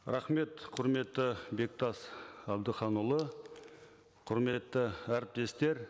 рахмет құрметті бектас әбдіханұлы құрметті әріптестер